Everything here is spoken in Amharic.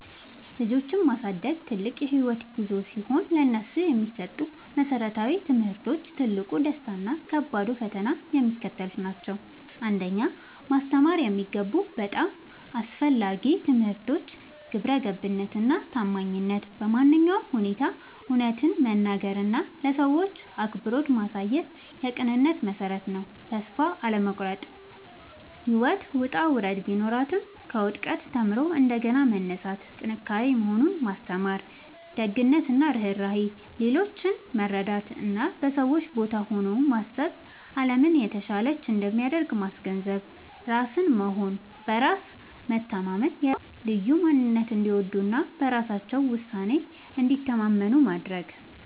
ልጆችን ማሳደግ ትልቅ የህይወት ጉዞ ሲሆን፥ ለነሱ የሚሰጡ መሰረታዊ ትምህርቶች፣ ትልቁ ደስታ እና ከባዱ ፈተና የሚከተሉት ናቸው 1. ማስተማር የሚገቡ በጣም አስፈላጊ ትምህርቶች ግብረገብነት እና ታማኝነት በማንኛውም ሁኔታ እውነትን መናገር እና ለሰዎች አክብሮት ማሳየት የቅንነት መሠረት ነው። ተስፋ አለመቁረጥ (ጽናት)፦ ህይወት ውጣ ውረድ ቢኖራትም፣ ከውድቀት ተምሮ እንደገና መነሳት ጥንካሬ መሆኑን ማስተማር። ደግነት እና ርህራሄ፦ ሌሎችን መርዳት እና በሰዎች ቦታ ሆኖ ማሰብ አለምን የተሻለች እንደሚያደርግ ማስገንዘብ። ራስን መሆን እና በራስ መተማመን፦ የራሳቸውን ልዩ ማንነት እንዲወዱ እና በራሳቸው ውሳኔ እንዲተማመኑ ማድረግ።